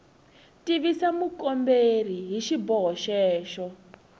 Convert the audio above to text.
tivisa mukomberi hi xiboho xexo